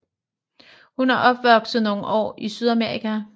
Hun er opvokset nogle år i Sydamerika